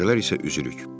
Gecələr isə üzürük.